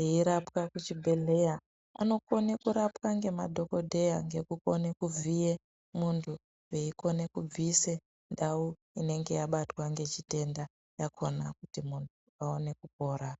eirapwa kuzvi bhehleya anokone kurapwa ngema dhokoteya ngekone kuvhiye mundu vei kone kubvise ndau inenge yabatwa ngechitenda yakona kuti mundu awane kupora .